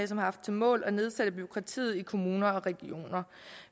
som har som mål at nedsætte bureaukratiet i kommuner og regioner